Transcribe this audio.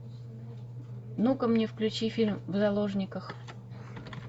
ну ка мне включи фильм в заложниках